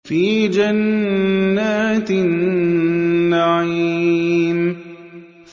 فِي جَنَّاتِ النَّعِيمِ